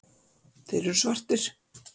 Þeir eru svartir.